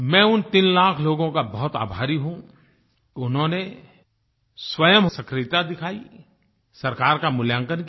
मैं उन 3 लाख लोगों का बहुत आभारी हूँ कि उन्होंने स्वयं सक्रियता दिखाई सरकार का मूल्यांकन किया